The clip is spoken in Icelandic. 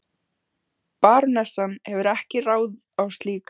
Barónessan hefur ekki ráð á slíku.